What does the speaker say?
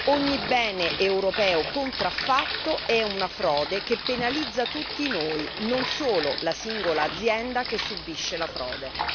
Ogni bene europeo contraffatto è una frode che penalizza tutti noi, non solo la singola azienda che subisce la frode.